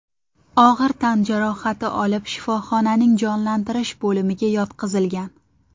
og‘ir tan jarohati olib, shifoxonaning jonlantirish bo‘limiga yotqizilgan.